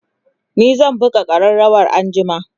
ni zan buga ƙararawa anjima